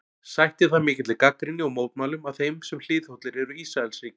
Sætti það mikilli gagnrýni og mótmælum af þeim sem hliðhollir eru Ísraelsríki.